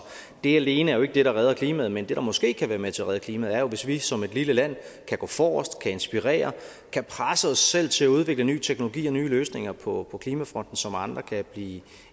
det alene er jo ikke det der redder klimaet men det der måske kan være med til at redde klimaet er jo hvis vi som et lille land kan gå forrest kan inspirere og kan presse os selv til at udvikle ny teknologi og nye løsninger på klimafronten som andre kan blive